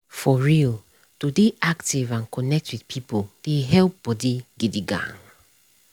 for real to dey active and connect with people dey help body gidi gan.